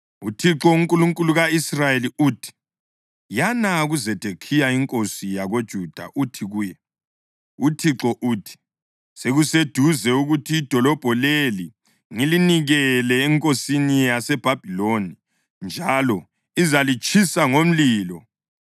“ UThixo, uNkulunkulu ka-Israyeli uthi: Yana kuZedekhiya inkosi yakoJuda uthi kuye, ‘ UThixo uthi: Sekuseduze ukuthi idolobho leli ngilinikele enkosini yaseBhabhiloni, njalo izalitshisa ngomlilo.